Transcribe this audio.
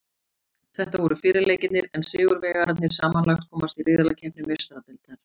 Þetta voru fyrri leikirnir en sigurvegararnir samanlagt komast í riðlakeppni Meistaradeildarinnar.